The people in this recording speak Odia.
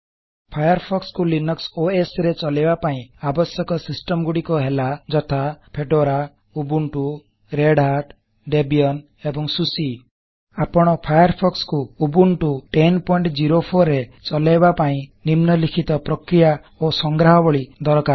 ଫାୟାରଫୋକ୍ସ କୁ ଲିନକ୍ସ ଓଏସ୍ ରେ ଚଲାଇବା ପାଇଁ ଆବଶ୍ୟକ ସିଷ୍ଟମ ଗୁଡ଼ିକ ହେଲା ଯଥା160 ଫେଡୋରା ubuntuରେଡ୍ hatଦେବିଆନ୍ ଏବଂ ସୁସି ଆପଣ ଫାୟାରଫୋକ୍ସ କୁ ଉବଣ୍ଟୁ 1004 ରେ ଚଲାଇବା ପାଇଁ ନିମ୍ନଲିଖିତ ପ୍ରକ୍ରିୟା ଓ ସଂଗ୍ରାହବଳି ଦରକାର